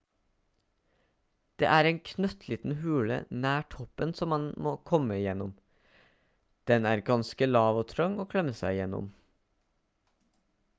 det er en knøttliten hule nær toppen som man må komme gjennom den er ganske lav og trang å klemme seg gjennom